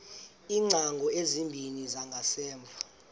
iingcango ezimbini zangasemva